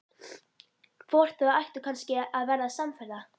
Hvort þau ættu kannski að verða samferða?